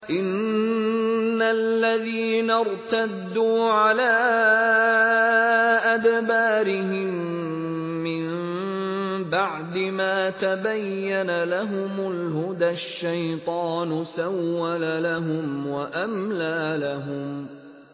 إِنَّ الَّذِينَ ارْتَدُّوا عَلَىٰ أَدْبَارِهِم مِّن بَعْدِ مَا تَبَيَّنَ لَهُمُ الْهُدَى ۙ الشَّيْطَانُ سَوَّلَ لَهُمْ وَأَمْلَىٰ لَهُمْ